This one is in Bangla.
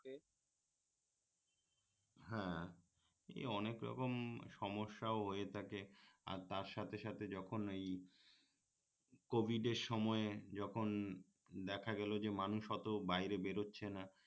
হ্যাঁ এ অনেক রকম সমস্যাও হয়ে থাকে আর তার সাথে যখন এই কোভিডের সময়ে যখন দেখা গেলো যে মানুষ অত বাইরে বের হচ্ছে না